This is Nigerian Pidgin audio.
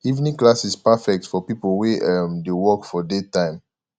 evening classes perfect for people wey um dey work for daytime